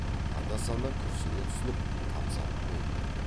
анда санда күрсіне түсініп тамсанып қояды